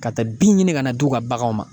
Ka taa bin ɲini ka na d'u ka baganw ma